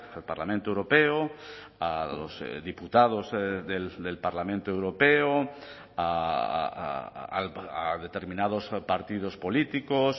al parlamento europeo a los diputados del parlamento europeo a determinados partidos políticos